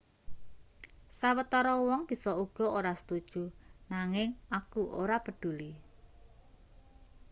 sawetara wong bisa uga ora setuju nanging aku ora peduli